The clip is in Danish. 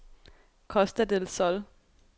Costa del Sol